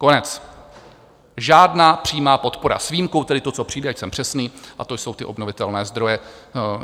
Konec, žádná přímá podpora, s výjimkou tedy toho, co přijde, ať jsem přesný, a to jsou ty obnovitelné zdroje.